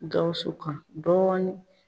Gawusu kan dɔɔnin